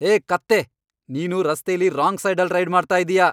ಹೇ, ಕತ್ತೆ. ನೀನು ರಸ್ತೆಲಿ ರಾಂಗ್ ಸೈಡಲ್ಲ್ ರೈಡ್ ಮಾಡ್ತಾ ಇದೀಯ.